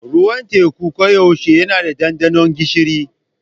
Ruwan teku koyaushe yana da ɗanɗano gishiri.